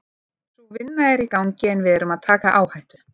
Sú vinna er í gangi en við erum að taka áhættu.